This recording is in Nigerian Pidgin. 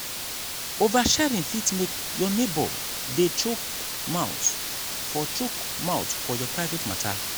oversharing fit make your neighbour dey chook mouth for chook mouth for your private matter